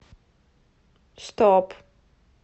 стоп